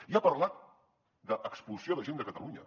i ha parlat d’expulsió de gent de catalunya